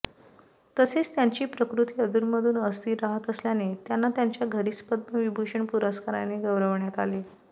तसेच त्यांची प्रकृती अधूनमधून अस्थिर राहत असल्याने त्यांना त्यांच्या घरीच पद्मविभूषण पुरस्काराने गौरवण्यात आले